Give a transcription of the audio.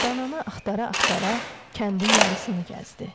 Dananı axtara-axtara kəndin yarısını gəzdi.